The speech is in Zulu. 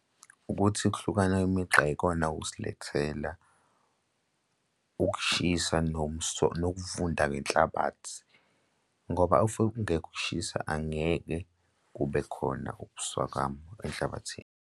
Ukuthi ukuhlukana imigqa ikona okusilethela ukushisa nokuvunda kwenhlabathi ngoba if kungekho ukushisa angeke kube khona ubuswakama enhlabathini.